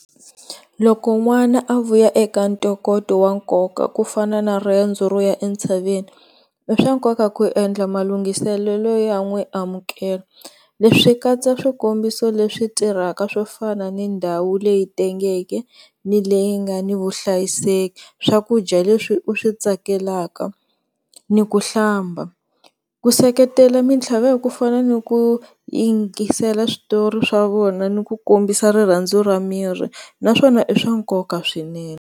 Loko n'wana a vuya eka ntokoto wa nkoka ku fana na riendzo ro ya entshaveni i swa nkoka ku endla malungheselelo yo n'wi amukla, leswi swi katsa, swikombiso leswi tirhaka swo fana na ndhawu leyi tengeke ni leyi nga ni vuhlayiseki swakudya leswi u swi tsakelaka ni ku hlamba. Ku seketela mintlhaveko ku fana ni ku yingisela switori swa vona ni ku kombisa rirhandzu ra miri na swona i swa nkoka swinene.